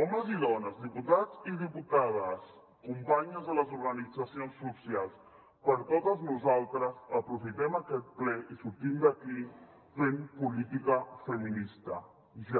homes i dones diputats i diputades companyes de les organitzacions socials per totes nosaltres aprofitem aquest ple i sortim d’aquí fent política feminista ja